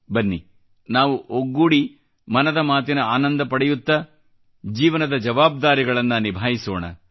ಬನ್ನಿ ನಾವು ಒಗ್ಗೂಡಿ ಮನದ ಮಾತಿನ ಆನಂದ ಪಡೆಯುತ್ತಾ ಜೀವನದ ಜವಾಬ್ದಾರಿಗಳನ್ನ ನಿಭಾಯಿಸೋಣ